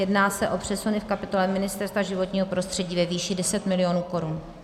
Jedná se o přesuny v kapitole Ministerstva životního prostředí ve výši 10 milionů korun.